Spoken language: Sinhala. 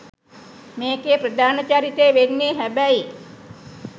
මේකේ ප්‍රධාන චරිතේ වෙන්නේ හැබැයි